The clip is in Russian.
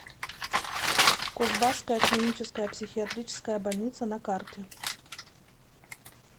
кузбасская клиническая психиатрическая больница на карте